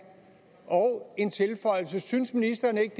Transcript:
og en tilføjelse synes ministeren ikke